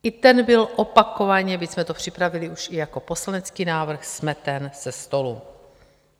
I ten byl opakovaně, byť jsme to připravili už i jako poslanecký návrh, smeten ze stolu.